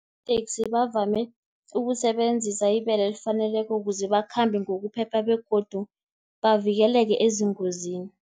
iinteksi bavame ukusebenzisa ibelo elifaneleko, kuze bakhambe ngokuphepha, begodu bavikeleke ezingozini.